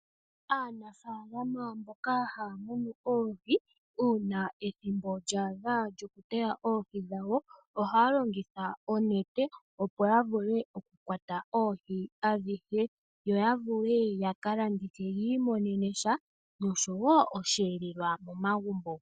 Aanafaalama mboka haa munu oohi una ethimbo lyadha lyomuna oohi dhawo .Ohaya longitha oonete opo yavule okukwata oohi adhihe yo yavule yakalandithe yii monene mo iiyemo nosho woo oshelelelwa.